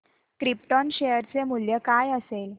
krypton share चे मूल्य काय असेल